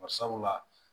Barisabula